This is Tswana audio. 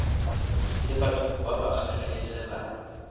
le batho ba ba kgatlhegelang